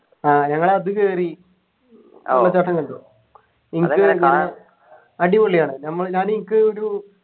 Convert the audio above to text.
ആഹ് ഞങ്ങൾ അത് കേറി വെള്ളച്ചാട്ടം കണ്ടു എനിക്ക് അടിപൊളിയാണ് ഞമ്മള് ഞാൻ എനിക്ക് ഒരു